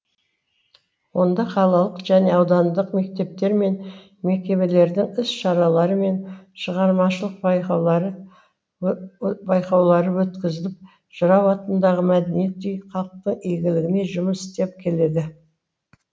онда қалалық және аудандық мектептер мен мекемелердің іс шаралары мен шығармашылық байқаулары өткізіліп жырау атындағы мәдениет үйі халықтың игілігіне жұмыс істеп келеді